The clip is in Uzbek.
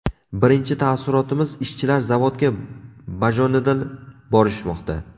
Birinchi taassurotimiz – ishchilar zavodga bajonidil borishmoqda.